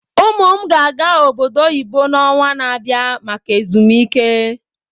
Ụmụ m ga-aga obodo oyibo n'ọnwa na-abịa maka ezumike.